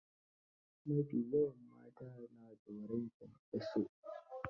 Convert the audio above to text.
Ma fi yawan mata na tsoron kyankyaso.